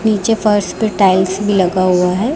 नीचे फर्श पे टाइल्स लगा हुआ है।